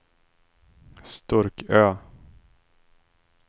Sturkö